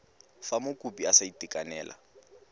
fa mokopi a sa itekanela